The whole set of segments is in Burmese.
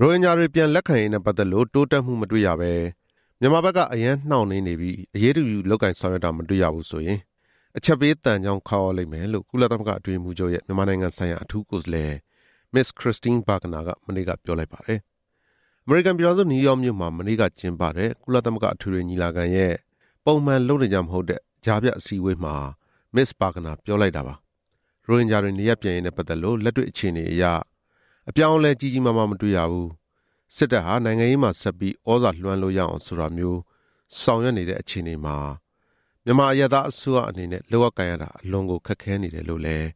ရိုဟင်ဂျာတွေ ပြန်လက်ခံရေးနဲ့ပတ်သက်လို့ တိုးတက်မှုမတွေ့ရဘဲ မြန်မာဘက်က အရမ်းနှောင့်နှေးနေပြီး၊ အရေးတယူလုပ်ကိုင်ဆောင်ရွက်တာ မတွေ့ရဘူးဆိုရင် "အချက်ပေးသံချောင်း ခေါက်ရလိမ့်မယ်" လို့ ကုလသမဂ္ဂအတွင်းရေးမှူးချုပ်ရဲ့ မြန်မာနိုင်ငံဆိုင်ရာ အထူးကိုယ်စားလှယ် မစ္စ ခရစ္စတင်းဘာဂနာ က ပြောလိုက်ပါတယ်။ အမေရိကန်ပြည်ထောင်စု နယူးယောက်မြို့မှာ ကျင်းပတဲ့ ကုလသမဂ္ဂအထွေထွေညီလာခံရဲ့ ပုံမှန်လုပ်နေကျမဟုတ်တဲ့ အစည်းအဝေးမှာ မစ္စ ဘာဂနာ ပြောလိုက်တာပါ။ ရိုဟင်ဂျာတွေ နေရပ်ပြန်ရေးနဲ့ပတ်သက်လို့ လက်တွေ့အခြေအနေအရ အပြောင်းအလဲကြီးကြီးမားမား မတွေ့ရဘူး၊ စစ်တပ်ဟာ နိုင်ငံရေးမှာ ဆက်ပြီး သြဇာလွှမ်းလို့ရအောင်ဆိုတာမျိုး ဆောင်ရွက်နေတဲ့အခြေအနေမှာ မြန်မာအရပ်သားအစိုးရအနေနဲ့လုပ်ရကိုင်ရတာ အလွန်ကိုခက်ခဲနေတယ်လို့လည်း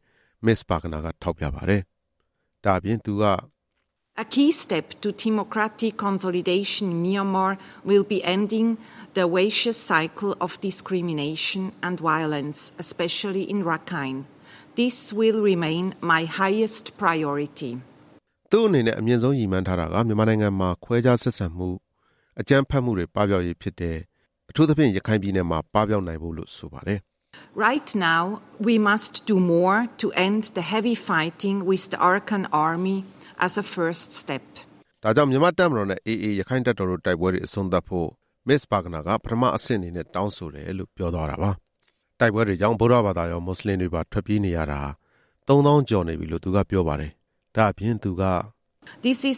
မစ္စ ဘာဂနာက ထောက်ပြပါတယ်။ သူ့အနေနဲ့ အမြင့်ဆုံးရည်မှန်းထားတာက မြန်မာနိုင်ငံမှာ ခွဲခြားဆက်ဆံမှုနဲ့ အကြမ်းဖက်မှုတွေ ပပျောက်ရေးဖြစ်တယ်လို့ဆိုပါတယ်။ အထူးသဖြင့် ရခိုင်ပြည်နယ်မှာ ပပျောက်နိုင်ဖို့လို့ ဆိုပါတယ်။ ဒါကြောင့် မြန်မာ့တပ်မတော်နဲ့ AA ရက္ခိုင့်တပ်တော်တို့ တိုက်ပွဲတွေအဆုံးသတ်ဖို့ မစ္စ ဘာဂနာက ပထမအဆင့်အနေနဲ့ တောင်းဆိုတယ်လို့ ပြောသွားတာပါ။ တိုက်ပွဲတွေကြောင့် ဗုဒ္ဓဘာသာရော၊ မွတ်စလင်ပါ ထွက်ပြေးနေရတာ ၃ သောင်းကျော်နေပြီလို့ သူကပြောပါတယ်။ ဒါ့အပြင် သူက -- ဒီတိ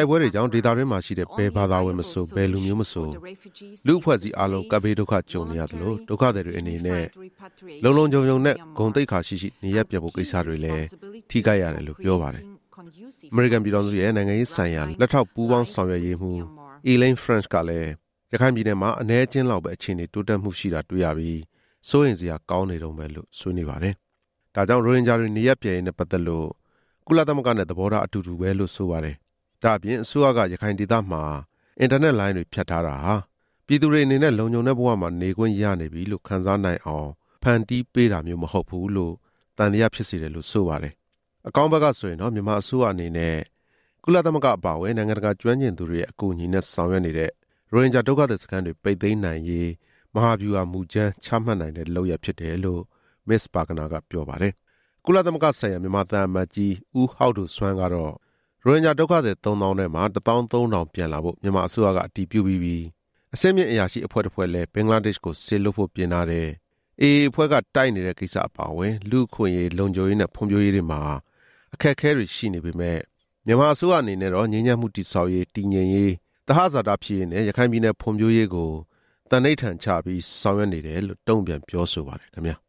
ုက်ပွဲတွေကြောင့် ဒေသတွင်းမှာရှိတဲ့ ဘယ်ဘာသာဝင်မဆို၊ ဘယ်လူမျိုးမဆို၊ လူ့အဖွဲ့အစည်း အားလုံး ကပ်ဘေးဒုက္ခ ကြုံနေရသလို၊ ဒုက္ခသည်တွေအနေနဲ့ လုံလုံခြုံခြုံနဲ့ ဂုဏ်သိက္ခာရှိရှိ၊ နေရပ်ပြန်ဖို့ကိစ္စတွေလည်း ထိခိုက်ရတယ်လို့ပြောပါတယ်။ အမေရိကန်ပြည်ထောင်စုရဲ့ နိုင်ငံရေးဆိုင်ရာ လက်ထောက်ပူးပေါင်းဆောင်ရွက်ရေးမှူး Elaine French ကလည်း၊ ရခိုင်ပြည်နယ်မှာ အနည်းအကျဉ်းလောက်ပဲ အခြေအနေတိုးတက်မှုရှိတာတွေ့ရပြီး၊ စိုးရိမ်စရာကောင်းနေတုန်းပဲလို့ ပြောလိုက်ပါတယ်။ ဒါကြောင့် ရိုဟင်ဂျာတွေ နေရပ်ပြန်ရေးနဲ့ ပတ်သက်လို့ ကုလသမဂ္ဂနဲ့ သဘောထားအတူတူပဲလို့ ဆိုပါတယ်။ ဒါ့အပြင် အစိုးရက ရခိုင်ဒေသမှာ အင်တာနက်လိုင်းတွေ ဖြတ်ထားတာဟာ ပြည်သူတွေအနေနဲ့ လုံခြုံတဲ့ဘဝမှာ နေခွင့်ရနေပြီလို့ ခံစားနိုင်အောင် ဖန်တီးပေးတာမျိုးမဟုတ်ဘူးလို့ သံသယဖြစ်စေတယ်လို့ ဆိုပါတယ်။ အကောင်းဘက်ကဆိုရင်တော့ မြန်မာအစိုးရအနေနဲ့ ကုလသမဂ္ဂအပါအဝင် နိုင်ငံတကာကျွမ်းကျင်သူတွေရဲ့ အကူအညီနဲ့ဆောင်ရွက်နေတဲ့၊ ရိုဟင်ဂျာဒုက္ခသည်စခန်းတွေ ပိတ်သိမ်းနိုင်ရေး မဟာဗျူဟာ မူကြမ်းချမှတ်နိုင်တဲ့ လုပ်ရပ်ဖြစ်တယ်လို့ မစ္စ ဘာဂနာကပြောပါတယ်။ ကုလသမဂ္ဂဆိုင်ရာ မြန်မာသံအမတ်ကြီး ဦးဟောက်ဒိုစွမ်းကတော့ ဒုက္ခသည် သုံးသောင်းထဲမှာ ၁ သောင်း ၃ ထောင် ပြန်လာဖို့ မြန်မာအစိုးရက အတည်ပြုပြီးပြီ၊ အဆင့်မြင့်အရာရှိအဖွဲ့တစ်ဖွဲ့လည်း ဘင်္ဂလားဒေ့ရှ်ကို စေလွှတ်ဖို့ပြင်ထားတယ်၊ AA အဖွဲ့က တိုက်နေတဲ့ကိစ္စအပါအဝင် လူ့အခွင့်အရေး၊ လုံခြုံရေးနဲ့ ဖွံ့ဖြိုးရေးတွေမှာ အခက်အခဲတွေရှိနေပေမယ့်၊ မြန်မာအစိုးရအနေနဲ့တော့ ငြိမ်းချမ်းမှုတည်ဆောက်ရေး၊ တည်ငြိမ်ရေး၊ သဟဇာတဖြစ်ရေးနဲ့ ရခိုင်ပြည်နယ်ဖွံ့ဖြိုးရေးကို သန္နိဋ္ဌာန်ချပြီး ဆောင်ရွက်နေတယ်လို့ တုံ့ပြန်ပြောဆိုပါတယ်ခင်ဗျာ။